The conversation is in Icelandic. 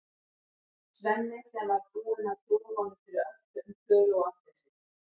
Svenni sem var búinn að trúa honum fyrir öllu um Klöru og Agnesi.